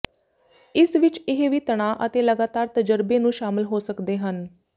ਇਸ ਵਿਚ ਇਹ ਵੀ ਤਣਾਅ ਅਤੇ ਲਗਾਤਾਰ ਤਜਰਬੇ ਨੂੰ ਸ਼ਾਮਲ ਹੋ ਸਕਦੇ ਹਨ